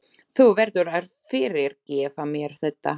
Þú verður að fyrirgefa mér þetta!